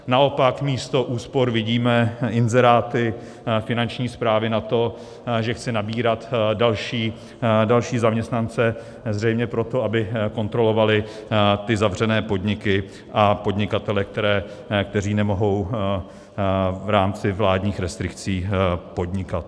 Naopak místo úspor vidíme inzeráty Finanční správy na to, že chce nabírat další zaměstnance, zřejmě proto, aby kontrolovali ty zavřené podniky a podnikatele, kteří nemohou v rámci vládních restrikcí podnikat.